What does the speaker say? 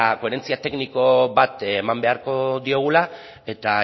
koherentzia tekniko bat eman beharko diogula